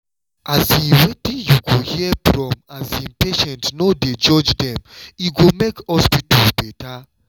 um wetin you go hear from um patients no dey judge dem e go make hospitals better.